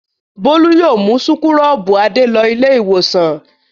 Bólú yóò mú súkúrọ́bù Adé lọ Ilé-ìwòsàn.